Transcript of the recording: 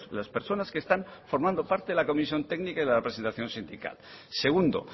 las personas que están formando parte de la comisión técnica y la representación sindical segundo